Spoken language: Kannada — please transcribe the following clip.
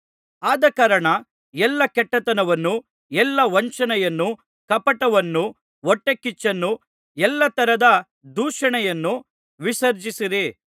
ಆದಕಾರಣ ಎಲ್ಲಾ ಕೆಟ್ಟತನವನ್ನೂ ಎಲ್ಲಾ ವಂಚನೆಯನ್ನೂ ಕಪಟವನ್ನೂ ಹೊಟ್ಟೆಕಿಚ್ಚನ್ನೂ ಎಲ್ಲಾ ತರದ ದೂಷಣೆಯನ್ನು ವಿಸರ್ಜಿಸಿರಿ